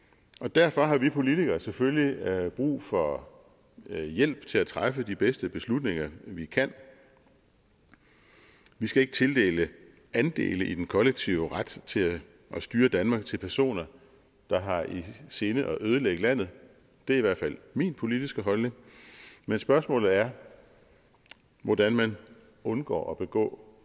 derfor har vi politikere selvfølgelig brug for hjælp til at træffe de bedste beslutninger vi kan vi skal ikke tildele andele i den kollektive ret til at styre danmark til personer der har i sinde at ødelægge landet det er i hvert fald min politiske holdning men spørgsmålet er hvordan man undgår at begå